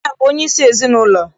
Nna bụ onye isi ezinaụlọ.